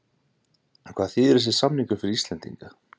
En hvað þýðir þessi samningur fyrir Íslendinga?